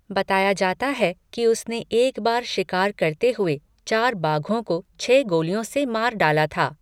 बताया जाता है कि उसने एक बार शिकार करते हुए चार बाघों को छह गोलियों से मार डाला था।